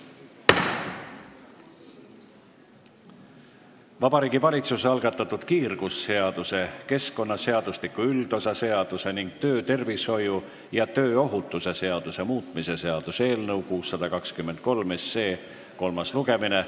Vabariigi Valitsuse algatatud kiirgusseaduse, keskkonnaseadustiku üldosa seaduse ning töötervishoiu ja tööohutuse seaduse muutmise seaduse eelnõu 623 kolmas lugemine.